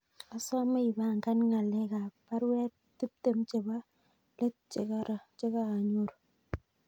Asame ipangan ngalek ab baruet tiptem chebo let chegogaonyoru